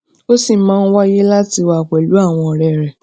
ó ṣì máa ń wáyè láti wà pèlú àwọn òré rè